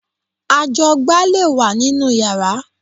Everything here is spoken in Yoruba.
Ajọgbá lè wà nínú yàrá